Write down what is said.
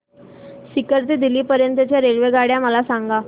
सीकर ते दिल्ली पर्यंत च्या रेल्वेगाड्या मला सांगा